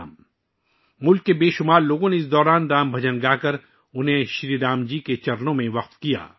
اس دوران ملک کے بہت سے لوگوں نے رام بھجن گائے اور انھیں شری رام کے چرنوں میں وقف کیا